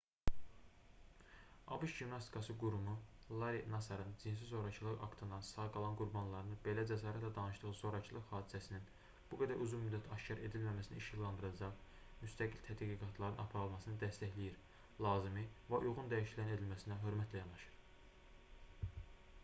abş gimnastikası qurumu larri nasarın cinsi zorakılıq aktından sağ qalan qurbanlarının belə cəsarətlə danışdığı zorakılıq hadisəsinin bu qədər uzun müddət aşkar edilməməsini işıqlandıracaq müstəqil tədqiqatların aparılmasını dəstəkləyir lazımı və uyğun dəyişikliklərin edilməsinə hörmətlə yanaşır